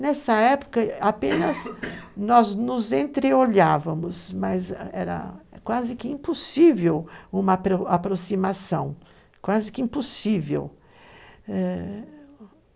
Nessa época apenas nós nos entreolhávamos, mas era quase que impossível uma aproximação, quase que impossível. Ãh...